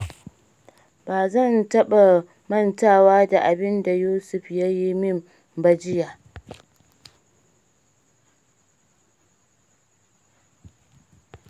Ba zan taɓa mantawa da abin da Yusuf ya yi min ba jiya.